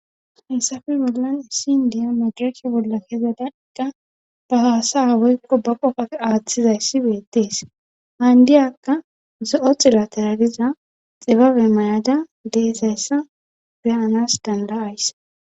Hessafe bollan issin diya majarake bolla kezada iqqa ba haasa aweykko ba qoqaf aaththizayssi beettees haandiyakka zo7o xilateraliza xibabe mayada deesayssa be7anas danda7ays.